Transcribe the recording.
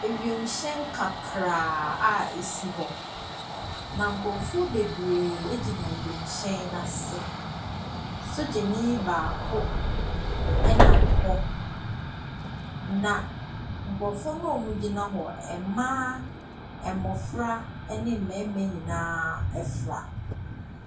Ewiemhyɛn kakraa a ɛsi hɔ, na nkurɔfoɔ bebree gyina wiemhyɛn no ase. Sogyani baako nam hɔ, na nkurɔfoɔ no a wɔgyina hɔ no, mmaa, mmɔfra ne mmarima nyinaa fra.